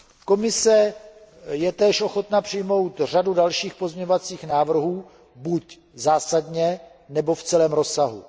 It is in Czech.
Komise je též ochotna přijmout řadu dalších pozměňovacích návrhů, buď zásadně nebo v celém rozsahu.